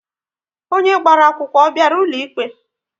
Onye gbara akwụkwọ, ọ bịara ụlọ ikpe?